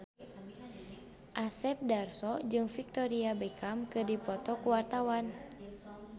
Asep Darso jeung Victoria Beckham keur dipoto ku wartawan